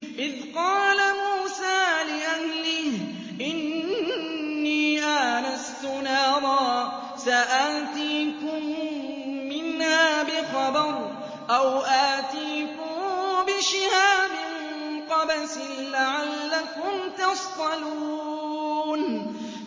إِذْ قَالَ مُوسَىٰ لِأَهْلِهِ إِنِّي آنَسْتُ نَارًا سَآتِيكُم مِّنْهَا بِخَبَرٍ أَوْ آتِيكُم بِشِهَابٍ قَبَسٍ لَّعَلَّكُمْ تَصْطَلُونَ